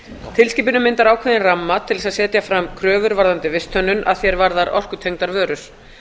tilskipunin myndar ákveðinn ramma til að setja fram kröfur varðandi visthönnun að því er varðar orkutengdar vörur